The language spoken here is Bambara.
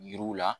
Yiriw la